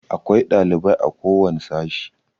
Akwai ɗalibai a ko wani sashi.